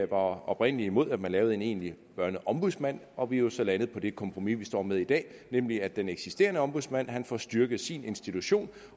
var oprindelig imod at man lavede en egentlig børneombudsmand og vi er så landet på det kompromis vi står med i dag nemlig at den eksisterende ombudsmand får styrket sin institution